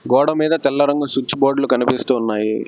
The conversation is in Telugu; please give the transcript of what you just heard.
గోడ మీద తెల్ల రంగు సుచ్ బోర్డులు కనిపిస్తూ ఉన్నాయి.